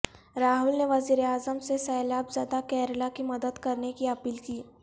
راہل نےوزیر اعظم سے سیلاب زدہ کیرلہ کی مدد کرنے کی اپیل کی